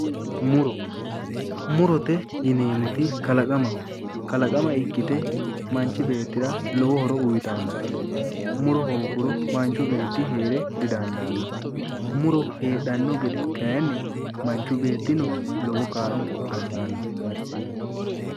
Muro murote yineemmoti kalaqamaho kalaqama ikkite manchi beettira lowo horo uyitannote muro hoogguro manchu beetti heere didandaanno muro heedhanno gede kayinni manchu beettino kayinni lowo kaa'lo assanno